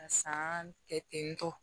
Ka san kɛ ten tɔ